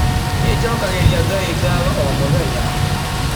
Nĩ njokagĩria Ngai ngatho o mũthenya.